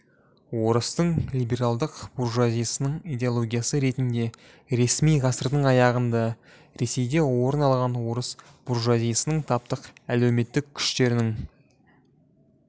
орыстың либералдық буржуазиясының идеологиясы ретінде ресми ғасырдың аяғында ресейде орын алған орыс буржуазиясының таптың әлеуметтік күштерінің